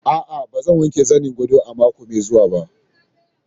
A'a, ba zan wanke zanin gadon ba a mako mai zuwa.